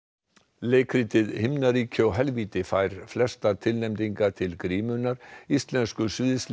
leikritið himnaríki og helvíti fær flestar tilnefningar til grímunnar íslensku